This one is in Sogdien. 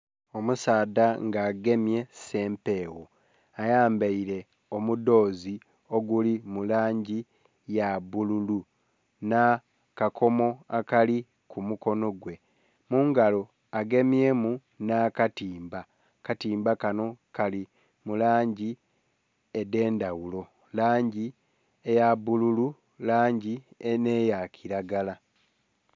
Omusaadha nga agemye sempegho ayambaire omudhoze oguli mulangi eyabbulu n'akakomo ali kumukono gwe mungalo agemye mu n'akatimba, akatimba kano kali mulangi edhendhaghulo langi eya bbululu, langi eyakiragala.